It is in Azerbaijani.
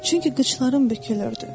Çünki qıçlarım bükülürdü.